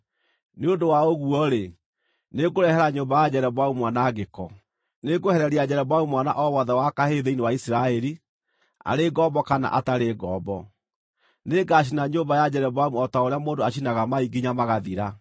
“ ‘Nĩ ũndũ wa ũguo-rĩ, nĩngũrehere nyũmba ya Jeroboamu mwanangĩko. Nĩngwehereria Jeroboamu mwana o wothe wa kahĩĩ thĩinĩ wa Isiraeli, arĩ ngombo kana atarĩ ngombo. Nĩngacina nyũmba ya Jeroboamu o ta ũrĩa mũndũ acinaga mai nginya magathira.